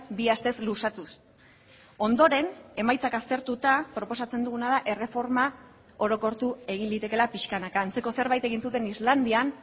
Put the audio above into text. bi astez luzatuz ondoren emaitzak aztertuta proposatzen duguna da erreforma orokortu egin litekeela pixkanaka antzeko zerbait egin zuten islandian